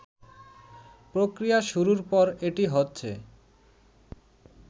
প্রক্রিয়া শুরুর পর এটি হচ্ছে